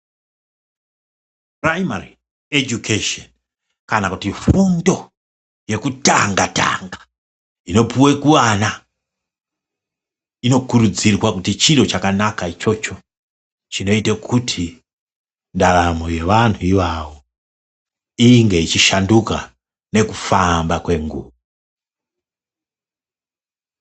Puraimari ejukesheni kana kuti fundo yekutanga tanga inopuwe kuana inokurudzirwa ngokuti chiro chakanaka ichocho chinoita kuti ndaramo yevantu ivavo inge ichishanduka nekufamba kwenguva.